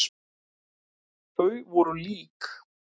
Þau voru lík.